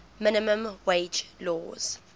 minimum wage laws